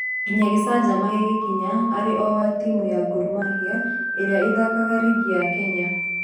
Nginya gĩcajama gĩgĩkinya arĩ o wa timũ ya Gor Mahia ĩrĩa ithakaga rigi ya Kenya